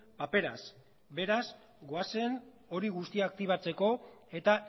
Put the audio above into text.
paperaz beraz goazen hori guztia aktibatzeko eta